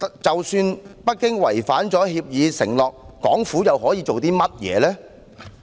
即使北京違犯協議承諾，港府又可以做甚麼？